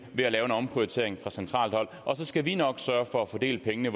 ved at omprioritere fra centralt hold og så skal vi nok sørge for at fordele pengene